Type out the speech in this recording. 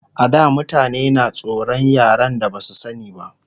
A da mutane na tsoran yaren da Basu sani ba